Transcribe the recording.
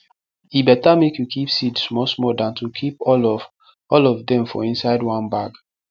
e better make you keep seed small small than to keep all of all of dem for inside one bag